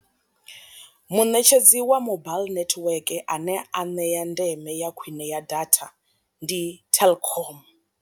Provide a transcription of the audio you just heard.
Muṋetshedzi wa mobile nethiweke ane a ṋea ndeme ya khwine ya data ndi telkom.